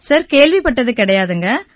sir கேள்விப்பட்டது கிடையாதுங்க